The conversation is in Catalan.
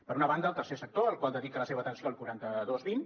per una banda el tercer sector al qual dedica la seva atenció el quaranta dos vint